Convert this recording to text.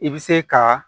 I bɛ se ka